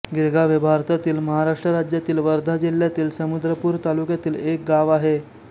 गिरगाव हे भारतातील महाराष्ट्र राज्यातील वर्धा जिल्ह्यातील समुद्रपूर तालुक्यातील एक गाव आहे